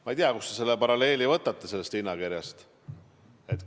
Ma ei tea, kust te selle paralleeli hinnakirjaga võtate.